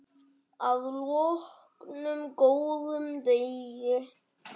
Að loknum góðum degi.